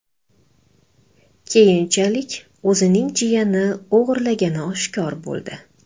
Keyinchalik o‘zining jiyani o‘g‘irlagani oshkor bo‘ldi.